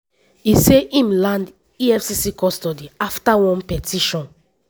e say im land efcc custody afta one petition